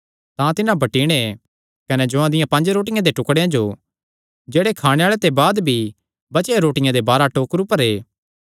तां तिन्हां बटीणे कने जौआं दियां पंज रोटियां दे टुकड़ेयां जो जेह्ड़े खाणे आल़ेआं ते बाद भी बचेयो रोटियां दे बाराह टोकरु भरे